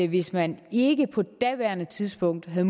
hvis man ikke på daværende tidspunkt havde